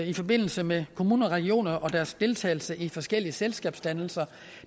i forbindelse med kommuner og regioner og deres deltagelse i forskellige selskabsdannelser